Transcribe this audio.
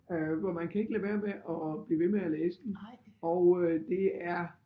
Øh hvor man kan ikke lade være med at blive ved med at læse den og øh det er